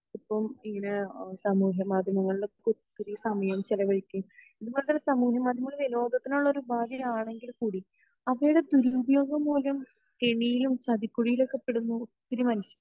ഇപ്പോം ഇങ്ങനെ സമൂഹ മാധ്യമങ്ങളിൽ ഒക്കെ ഒത്തിരി സമയം ചെലവഴിക്കുകയും സ്മോഊഹാ മാധ്യമങ്ങൾ ലോകത്തിന് ഉള്ള ഒരു ഉപാധി ആണെങ്കിൽ കൂടിഅവയുടെ ദുരുപയോഗം മൂലം കെണിയിലും ചതിക്കുഴിലും ഒക്കെ പെടുന്ന ഒത്തിരി